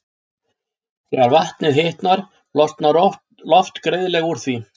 Þegar vatnið hitnar losnar loft greiðlega úr því.